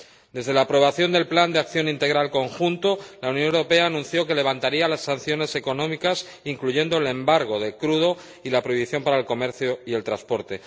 Desde la aprobación del plan de acción integral conjunto, la Unión Europea anunció que levantaría las sanciones económicas, incluyendo el embargo del crudo y la prohibición para el comercio y el transporte.